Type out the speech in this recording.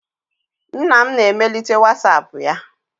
Nna m na emelite whatsapp ya.